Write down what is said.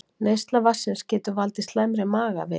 Neysla vatnsins getur valdið slæmri magaveiki